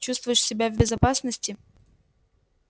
чувствуешь себя в безопасности